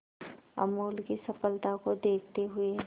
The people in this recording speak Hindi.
अमूल की सफलता को देखते हुए